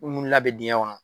Ko min labɛ diŋɛ ŋɔnɔ